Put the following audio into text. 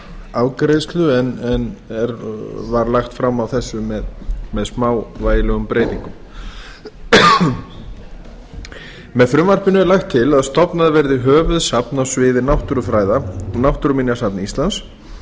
afgreiðslu og er nú lagt fram á ný með smávægilegum breytingum með frumvarpinu er lagt til að stofnað verði höfuðsafn á sviði náttúrufræða náttúruminjasafn íslands